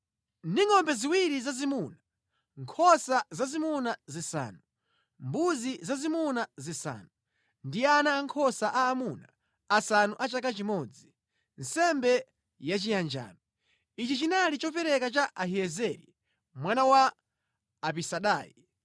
ndi ngʼombe ziwiri zazimuna, nkhosa zazimuna zisanu, mbuzi zazimuna zisanu, ndi ana ankhosa aamuna asanu a chaka chimodzi, nsembe yachiyanjano. Ichi chinali chopereka cha Ahiyezeri mwana wa Amisadai.